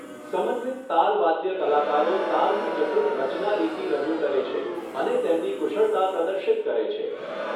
સમન્વિત તાલવાદ્ય કલાકારો તાલની જટિલ રચનારીતિ રજૂ કરે છે અને તેમની કુશળતા પ્રદર્શિત કરે છે.